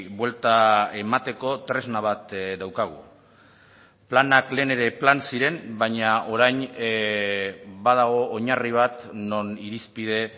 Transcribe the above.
buelta emateko tresna bat daukagu planak lehen ere plan ziren baina orain badago oinarri bat non irizpide